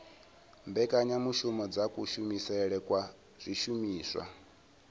mbekanyamushumo dza kushumisele kwa zwishumiswa